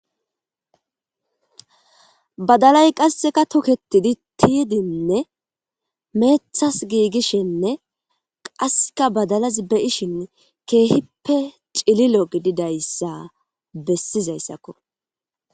badalay qasseka toketidi tiyidinne meethas giigishenne qaseka badalaz beyishin keehippe cililo gididayssa bessizayssakko